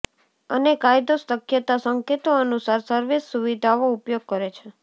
અને કાયદો શક્યતા સંકેતો અનુસાર સર્વિસ સુવિધાઓ ઉપયોગ કરે છે